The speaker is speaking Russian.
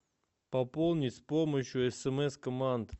пополнить с помощью смс команд